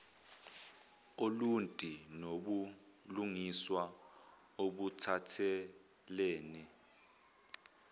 oluntu nobulungiswa obuphathelene